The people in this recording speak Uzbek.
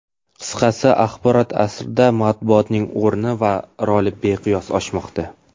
Qisqasi, axborot asrida matbuotning o‘rni va roli beqiyos oshmoqda.